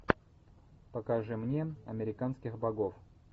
покажи мне американских богов